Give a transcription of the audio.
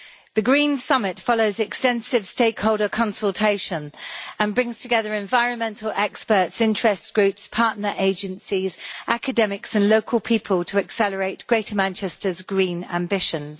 The Green Summit follows extensive stakeholder consultation and brings together environmental experts, interest groups, partner agencies, academics and local people to accelerate Greater Manchester's green ambitions.